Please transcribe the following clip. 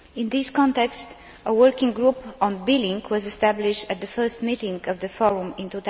In this context, a working group on billing was established at the first meeting of the Forum in